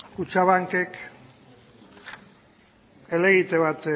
kutxabankek helegite bat